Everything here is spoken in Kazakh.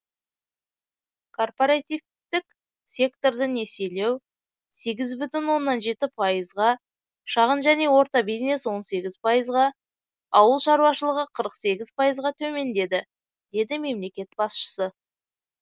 корпоративтік секторды несиелеу сегіз бүтін оннан жеті пайызға шағын және орта бизнес он сегіз пайызға ауыл шаруашылығы қырық сегіз пайызға төмендеді деді мемлекет басшысы